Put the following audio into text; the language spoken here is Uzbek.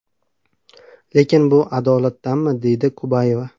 Lekin bu adolatdanmi?”, deydi Kubayeva.